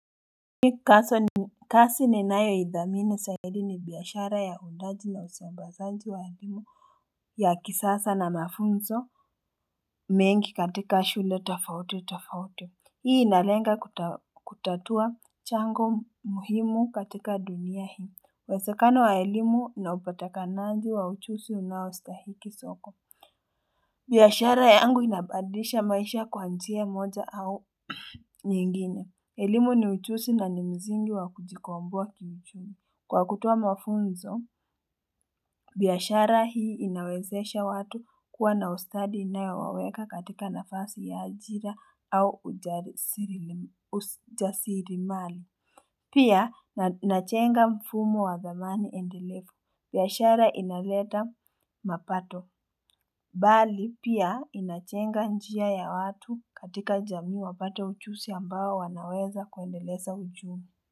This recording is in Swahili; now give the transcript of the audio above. Mimi kaso ni kasi ninayoidhamini zaidi ni biashara ya huundaji na usambazaji wa elimu ya kisasa na mafunzo mengi katika shule tofauti tofauti. Hii inalenga kutatua chango muhimu katika dunia hii. Uwezekano wa elimu na upatikanaji wa uchuzi unaostahiki soko. Biashara yangu inabadilisha maisha kwa njia moja au nyingine. Elimu ni ujuzi na ni mzingi wa kujikomboa kiuchumi. Kwa kutoa mafunzo, biashara hii inawezesha watu kuwa na ustadi inayowaweka katika nafasi ya ajira au ujasiri mali. Pia, inajenga mfumo wa dhamani endelevu. Biashara inaleta mapato bali pia inajeenga njia ya watu katika jamii wapate ujuzi ambao wanaweza kuendeleza uchumi.